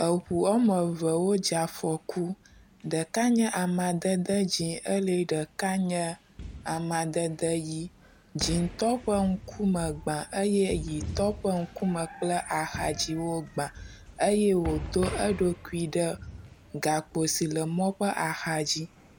Eŋu wome evewo dze afɔku. Ɖeka nye amadede dzɛ̃ eye ɖeka nye amadede ʋi. Dzɛ̃tɔ ƒe ŋkume gbã eye ʋitɔ ƒe ŋkume kple axadzi wogbã eye wodo eɖokui ɖe gakpo si le mɔ ƒe axadzi.